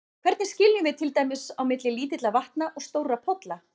Hvernig skiljum við til dæmis á milli lítilla vatna og stórra polla?